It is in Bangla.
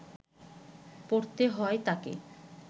পড়তে হয় তাকে